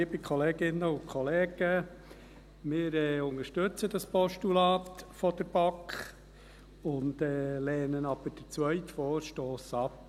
Wir unterstützen das Postulat der BaK, lehnen aber den zweiten Vorstoss ab.